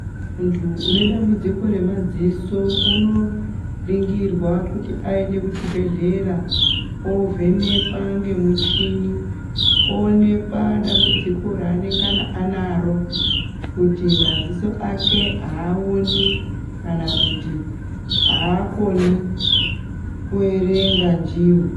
Muntu ane dambudziko remadziso unoningirwa kuti aende kuzvibhedhlera ovhenekwa nemichini oonekwa dambudziko raanenge anaro kuti madziso ake Haaoni kana kuti haakoni kuerenga ndiwo.